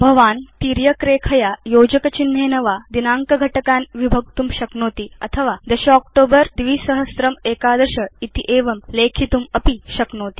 भवान् तिर्यक् रेखया योजकचिह्नेन वा दिनाङ्कघटकान् विभक्तुं शक्नोति अथवा 10 अक्टोबर 2011 इत्येवं लेख्यमपि उपयोक्तुं शक्नोति